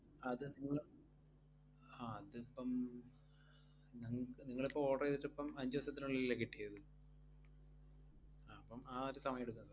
അത് നിങ്ങള് അഹ് അതിപ്പം നിങ്ങ~ നിങ്ങളിപ്പം order എയ്തിട്ടിപ്പം അഞ്ച് ദിവസത്തിനുള്ളിലല്ലേ കിട്ടിയത്? അഹ് അപ്പം ആ ഒരു സമയം എടുക്കും.